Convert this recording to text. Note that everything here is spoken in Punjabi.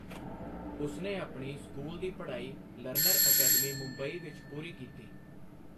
ਉਸਨੇ ਆਪਣੀ ਸਕੂਲ ਦੀ ਪੜ੍ਹਾਈ ਲਰਨਰ ਅਕੈਡਮੀ, ਮੁੰਬਈ ਵਿੱਚ ਪੂਰੀ ਕੀਤੀ।